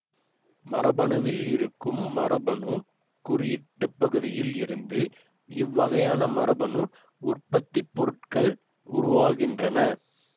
மரபணுவிலிருக்கும் மரபணு குறியீட்டுப்பகுதியில் இருந்து இவ்வகையான மரபணு உற்பத்திப்பொருட்கள் உருவாகின்றன